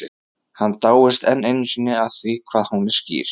Hann dáist enn einu sinni að því hvað hún er skýr.